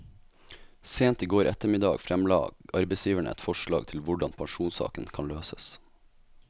Sent i går ettermiddag fremla arbeidsgiverne et forslag til hvordan pensjonssaken kan løses.